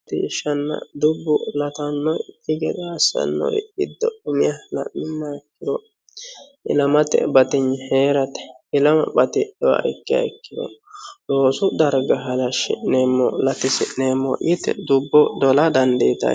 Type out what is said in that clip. latishshanna dubbu latannoki gede assannori giddo umiha ilamate batignni heerate ilama batidhuha ikkiha ikkiro loosu darga halashshi'neemo latisi'neemo yite dubbo dola dandiitayoo